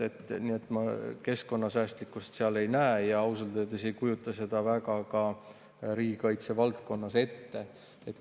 Nii et ma keskkonnasäästlikkust seal ei näe ja ausalt öeldes ei kujuta seda riigikaitse valdkonnas väga ka ette.